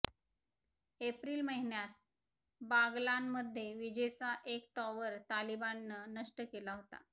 April महिन्यात बागलानमध्ये विजेचा एक टॉवर तालिबाननं नष्ट केला होता